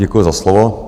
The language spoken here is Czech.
Děkuji za slovo.